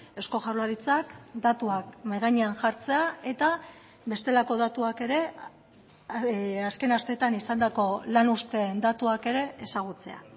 eusko jaurlaritzak datuak mahai gainean jartzea eta bestelako datuak ere azken asteetan izandako lan uzteen datuak ere ezagutzea